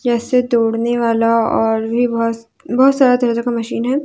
जैसे दौड़ने वाला और भी बहुत बहुत सारे तरह का मशीन है।